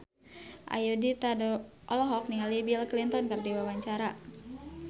Ayudhita olohok ningali Bill Clinton keur diwawancara